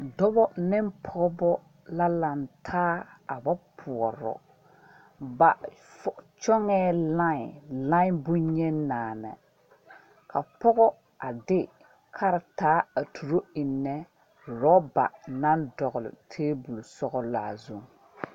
Dɔba ne pɔgba la langtaa a ba poɔro ba kyogɛɛ line line bonyeni naani ka pɔga a de karitaa a tuuro enne ruba nang dɔgle tabol sɔglaa zung.